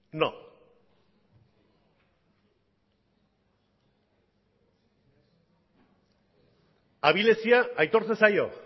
no abilezia aitortzen zaio